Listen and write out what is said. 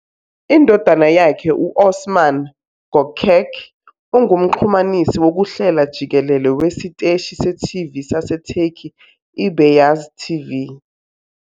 Indodana yakhe u-Osman Gökçek ungumxhumanisi wokuhlela jikelele wesiteshi se-TV saseTurkey iBeyaz TV.